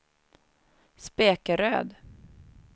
Spekeröd